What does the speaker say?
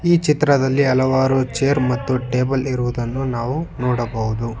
ಈ ಚಿತ್ರದಲ್ಲಿ ಹಲವಾರು ಚೇರ್ ಮತ್ತು ಟೇಬಲ್ ಇರುವುದನ್ನು ನಾವು ನೋಡಬಹುದು.